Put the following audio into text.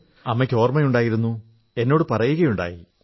അമ്മയക്ക് ഓർമ്മയുണ്ടായിരുന്നു എന്നോടു പറയുകയുണ്ടായി